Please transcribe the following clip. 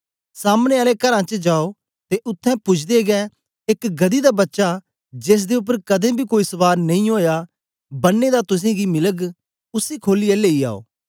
सामने आले घरां च जाओ ते उत्थें पूजदे गै एक गदही दा बच्चा जेसदे उपर कदें बी कोई सवार नेई ओया बनें दा तुसेंगी मिलग उसी खोलियै लेई आओ